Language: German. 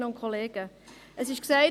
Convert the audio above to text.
Es wurde vorhin gesagt: